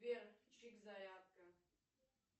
сбер чик зарядка